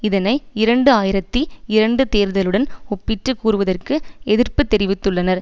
இதனை இரண்டு ஆயிரத்தி இரண்டு தேர்தலுடன் ஒப்பிட்டு கூறுவதற்கு எதிர்ப்பு தெரிவித்துள்ளனர்